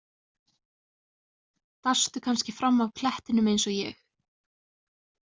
Dastu kannski fram af klettinum eins og ég?